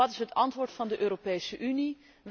En wat is het antwoord van de Europese Unie?